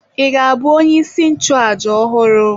Ị ga-abụ onyeisi nchụàjà ọhụrụ?